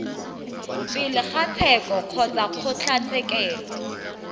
pele ga tsheko kgotsa kgotlatshekelo